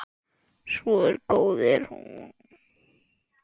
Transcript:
Svo góð er hún.